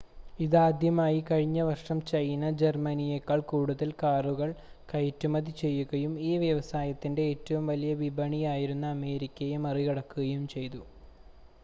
ഇതാദ്യമായി കഴിഞ്ഞ വർഷം ചൈന ജർമ്മനിയേക്കാൾ കൂടുതൽ കാറുകൾ കയറ്റുമതി ചെയ്യുകയും ഈ വ്യവസായത്തിൻ്റെ ഏറ്റവും വലിയ വിപണിയായിരുന്ന അമേരിക്കയെ മറികടക്കുകയും ചെയ്തു